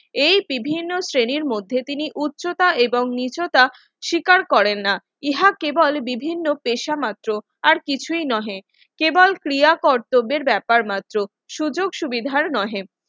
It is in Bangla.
এই বিভিন্ন শ্রেণীর মধ্যে তিনি উচ্চতা এবং মিশ্রতা স্বীকার করে না ইহা কে বলে বিভিন্ন পেশা মাত্র আর কিছুই নহে কেবল ক্রিয়া কর্তব্যের ব্যাপার মাত্র